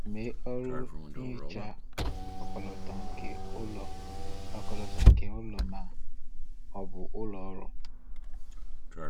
Mee ọrụ nhicha ọkọlọtọ nke ụlọ ọkọlọtọ nke ụlọ ma ọ bụ ụlọ ọrụ.